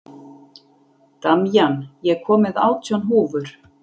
Damjan, ég kom með átján húfur!